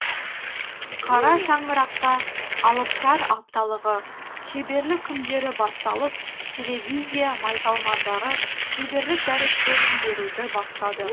қара шаңырақта алыптар апталығы шеберлік күндері басталып телевизия майталмандары шеберлік дәрістерін беруді бастады